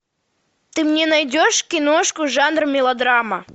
ты мне найдешь киношку жанр мелодрама